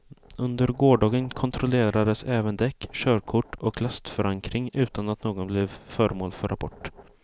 Under gårdagen kontrollerades även däck, körkort och lastförankring utan att någon blev föremål för rapport.